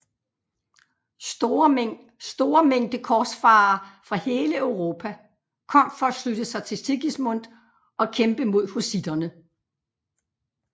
Store mængde korsfarere fra hele Europa kom for at slutte sig til Sigismund og kæmpe mod hussitterne